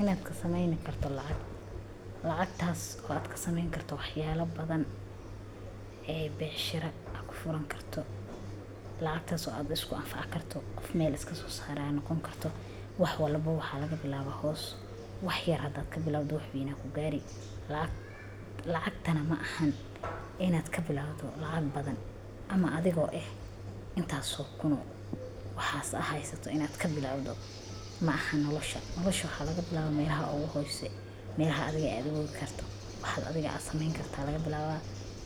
Inaad ka sameyni karto lacag. Lacagtaas oo aad ka sameyn karto waxyaalo badan ee beecshirada ku furan karto. Lacagtaas oo aad isku anfaa karto qof meel iska soo saaraa noqon karto. Wax walbo waxaa laga bilaabo hoos wax yaraadaad ka bilowdo wixii ay ku gaari. Lacag. Lacagtana ma ahan inaad ka bilowdo lacag badan ama adigoo ah intaas soo kunoo. Waxaas aheysato inaad ka bilaawto. Ma ahan nolosha. Nolosho xaa laga bilaabaa meiraha ugu hoosey, meiraha adiga ee aad igoo gudbi karto. Waxaad adiga caadi la sameyn karta. Laga bilaabaa